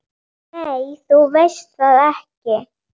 Nei, þú veist það ekki.